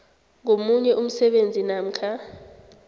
ngomunye umsebenzi namkha